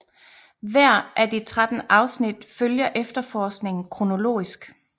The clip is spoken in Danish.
Hver af de 13 afsnit følger efterforskningen kronologisk